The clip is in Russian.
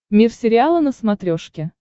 мир сериала на смотрешке